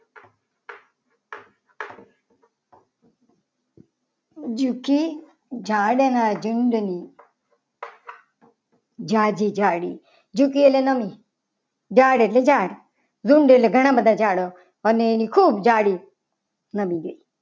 જોકે ઝાડના ઝુંડન ઝાજ જાડી જોકે ઝાડ એટલે ઝાડ ઝુંડ એટલે ઘણા બધા જાડો. અને ખૂબ જાડી નમી જઈ.